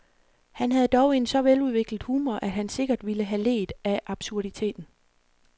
Han havde dog en så veludviklet humor, at han sikkert ville have leet af absurditeten.